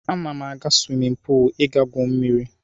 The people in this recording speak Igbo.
Ana m aga swimin puul ị gaa gwuo mmiri.